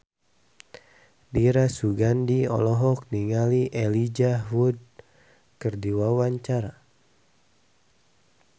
Dira Sugandi olohok ningali Elijah Wood keur diwawancara